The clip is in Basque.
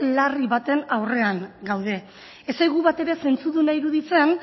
larri baten aurrean gaude ez zaigu bat ere zentzuduna irudi zen